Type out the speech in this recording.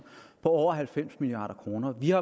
har